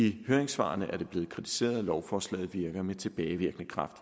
i høringssvarene blevet kritiseret at lovforslaget virker med tilbagevirkende kraft